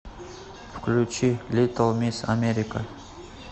включи литл мисс америка